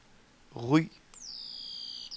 Ry